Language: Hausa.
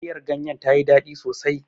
Miyar ganyen ta yi daɗi sosai.